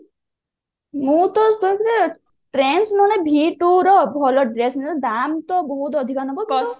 ମୋର ତ ସେଇଭଳିଆ trends ମାନେ v two ର ଭଲ ଡ୍ରେସ ମିଳେ ଦାମ ତ ବହୁତ ଆଧିକା ନବ